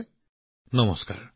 ধন্যবাদ নমস্কাৰ